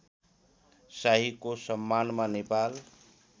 शाहीको सम्मानमा नेपाल